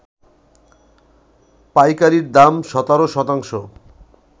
পাইকারির দাম ১৭ শতাংশ